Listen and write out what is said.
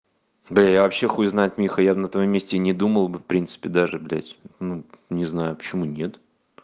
да я вообще хуй знает миха я бы на твоём месте не думал бы в принципе даже блядь ну не знаю почему нет